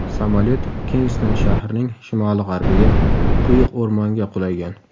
Samolyot Kingston shahrining shimoli-g‘arbiga, quyuq o‘rmonga qulagan.